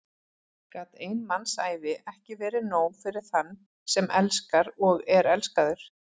Gat ein mannsævi ekki verið nóg fyrir þann sem elskar og er elskaður?